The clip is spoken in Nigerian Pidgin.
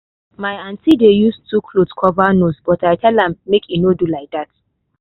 my aunty dey use two cloth cover nose but i tell am make e no do like that.